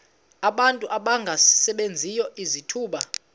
abantu abangasebenziyo izithuba